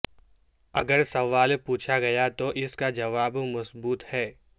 اگر سوال پوچھا گیا تو اس کا جواب مثبت ہے